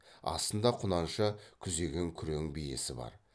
астында құнанша күзеген күрең биесі бар